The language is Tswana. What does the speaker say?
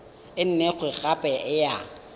e nngwe gape e ya